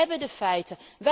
Wij hebben de feiten.